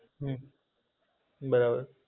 હમ બરાબર.